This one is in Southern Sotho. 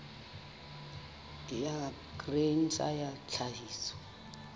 ya grain sa ya tlhahiso